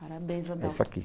Parabéns, Adalto. Esse aqui